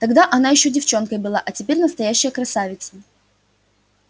тогда она ещё девчонкой была а теперь настоящая красавица